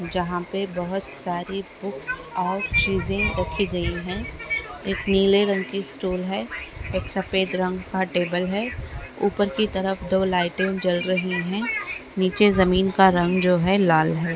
जहाँ पे बहुत सारी बुक्स और चीजे रखी गई है एक नीले रंग कि स्टूल है एक सफेद रंग का टेबल है उपर कि तरफ दो लाइटिंग जल रही है नीचे जमीन का रंग जो है लाल है।